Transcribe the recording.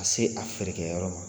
se a feerekɛ yɔrɔ ma.